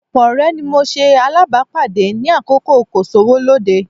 Ọ̀pọ̀ ọ̀rẹ́ ni mo ṣe alábàápàdé ní àkókò kò-sówó-lóde